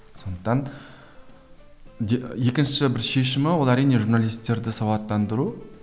сондықтан екінші бір шешімі ол әрине журналистерді сауаттандыру